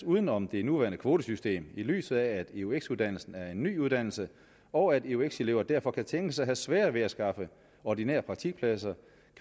uden om det nuværende kvotesystem i lyset af at eux uddannelsen er en ny uddannelse og at eux elever derfor kan tænkes at have sværere ved at skaffe ordinære praktikpladser